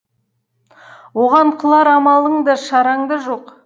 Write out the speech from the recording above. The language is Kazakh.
оған қылар амалың да шараң да жоқ